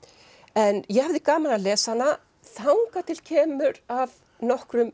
en ég hafði gaman af að lesa hana þangað til að kemur að nokkrum